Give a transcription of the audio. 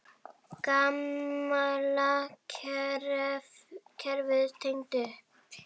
Gamla kerfið tekið upp?